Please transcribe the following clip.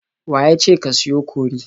Wa ya ce ka siyo kori?